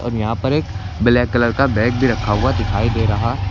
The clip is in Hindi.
और यहां पर एक ब्लैक कलर का बैग भी रखा हुआ दिखाई दे रहा--